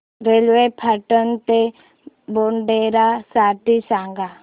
railway Patan ते मोढेरा साठी सांगा